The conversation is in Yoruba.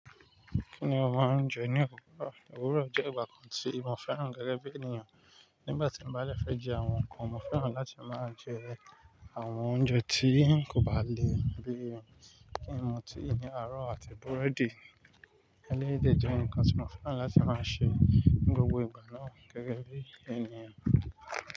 Kí ni o máa ń jẹ ní òwúrọ̀? Òwúrọ̀ jẹ́ ìgbà kan tí mo fẹ́ràn gẹ́gẹ́ bí ènìyàn. Nígbà tí mo bá fẹ́ jẹ àwọn nǹkan, mo fẹ́ràn láti máa jẹ àwọn oúnjẹ tí kò bá le bíi ẹyin, ọtí, ẹyin aró àti búrẹ́dì. Eléyìí jẹ́ nǹkan tí mo fẹ́ràn láti máa ṣe ní gbogbo ìgbà náà gẹ́gẹ́ bí ènìyàn.